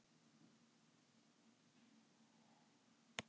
Og henni þyki þetta ekki síður leiðinlegt og vont en honum.